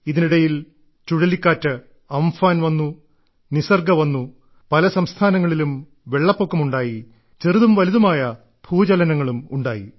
ഇതിനിടയിൽ ചുഴലിക്കാറ്റ് അംഫാൻ വന്നു നിസർഗ വന്നു പല സംസ്ഥാനങ്ങളിലും വെള്ളപ്പൊക്കമുണ്ടായി ചെറുതും വലുതുമായ ഭൂചലനങ്ങളും ഉണ്ടായി